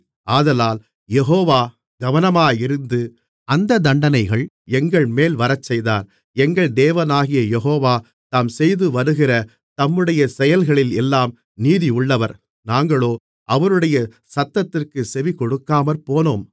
ஆதலால் யெகோவா கவனமாயிருந்து அந்தத் தண்டனைகள் எங்கள்மேல் வரச்செய்தார் எங்கள் தேவனாகிய யெகோவா தாம் செய்துவருகிற தம்முடைய செயல்களில் எல்லாம் நீதியுள்ளவர் நாங்களோ அவருடைய சத்தத்திற்குச் செவிகொடுக்காமற்போனோம்